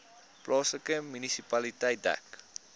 plaaslike munisipaliteit dek